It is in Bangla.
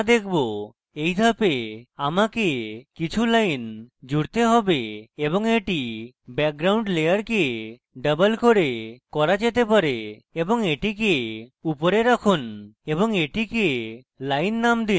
in ধাপে আমাকে কিছু lines জুড়তে have এবং এটি background layer ডাবল করে করা যেতে পারে এবং এটিকে উপরে রাখুন এবং এটিকে line naming দিন